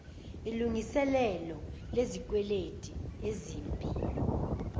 ilngiselelo lezikweleti ezimbi